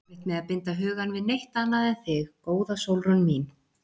Ég á erfitt með að binda hugann við neitt annað en þig, góða Sólrún mín.